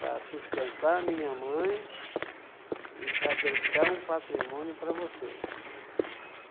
para sustentar minha mãe e para deixar um patrimônio para vocês.